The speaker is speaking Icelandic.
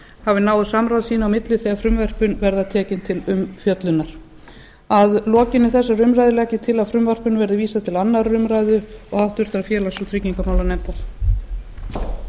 hafi náið samráð sín á milli þegar frumvörpin verða tekin til umfjöllunar að lokinni þessari umræðu legg ég til að frumvarpinu verði vísað til annarrar umræðu og háttvirtur félags og tryggingamálanefndar